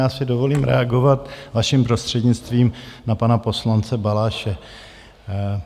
Já si dovolím reagovat vaším prostřednictvím na pana poslance Balaše.